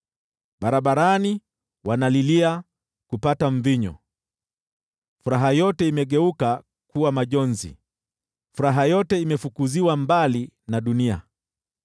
Barabarani wanalilia kupata mvinyo, furaha yote imegeuka kuwa majonzi, furaha yote imefukuziwa mbali na dunia.